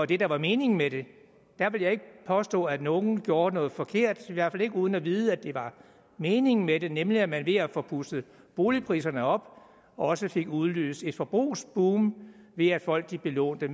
det der var meningen med det der vil jeg ikke påstå at nogen gjort noget forkert i hvert fald ikke uden at vide at det var meningen med det nemlig at man ved at få pustet boligpriserne op også fik udløst et forbrugsboom ved at folk belånte